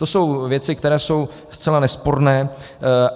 To jsou věci, které jsou zcela nesporné.